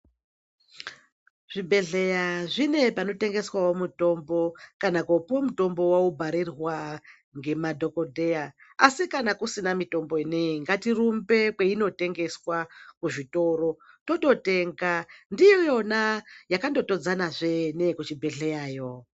Zvibhedhleya zvine panotengeswawo mitombo kana kopiwa mutombo waubharirwa ngemadhokdheya asi kana kusina mitombo ineyi ngatirumbe kwainotengeswa kuzvitoro tototenga ndiyona yakandotodzanazve neyekuchibhedhleyayo.